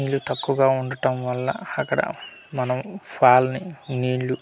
నీళ్ళు తక్కువగా ఉండటం వల్ల అక్కడ మనం ఫాల్ ని నీళ్ళు--